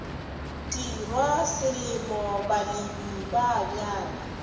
tirwa selemo balemi ba bjala